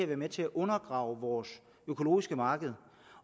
være med til at undergrave vores økologiske marked